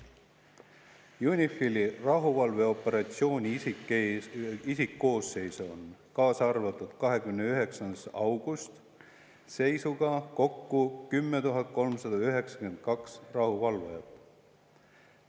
UNIFIL-i rahuvalveoperatsiooni isikkoosseisus on käesoleva aasta 29. augusti seisuga kokku 10 392 rahuvalvajat.